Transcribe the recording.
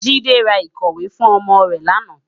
Jide rá ikòwé fún òmò rè làná